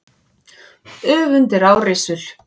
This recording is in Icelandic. Öfund er árrisul.